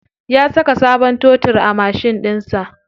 Ya saka sabon totur a mashin ɗinsa.